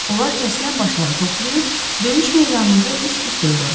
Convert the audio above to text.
Onlar kəsilən başları toplayıb döyüş meydanında üst-üstə yığırdılar.